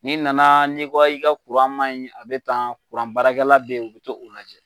N'i nana n'i ko i ka kuran ma ɲi a bɛ tan kuranbaarakɛla beyi o bi t'o lajɛ.